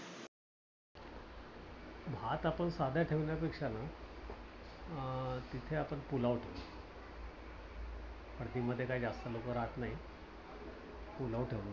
भात आपण साधा ठेवण्यापेक्षा ना अं तिथे आपण पुलाव ठेवूया. हळदी मध्ये काही जास्त लोकं राहत नाहीत. पुलाव ठेवूयात